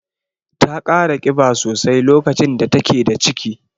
Ta kara kiba sosai lokacin da take da ciki.